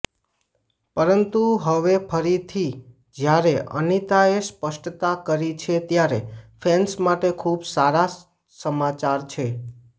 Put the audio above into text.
પરંતુ હવે ફરીથી જ્યારે અનિતાએ સ્પષ્ટતા કરી છે ત્યારે ફેન્સ માટે ખુબ સારા સમાચાર છે